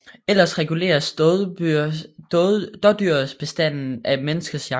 Ellers reguleres dådyrbestanden af menneskets jagt